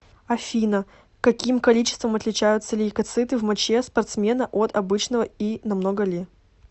афина каким количеством отличаются лейкоциты в моче спортсмена от обычного и намного ли